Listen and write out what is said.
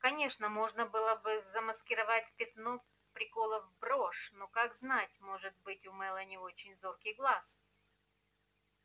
конечно можно было бы замаскировать пятно приколов брошь но как знать может быть у мелани очень зоркий глаз